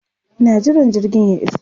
Ina jiran jirgin ya iso.